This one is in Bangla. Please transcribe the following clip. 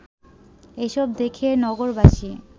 এসব দেখে নগরবাসী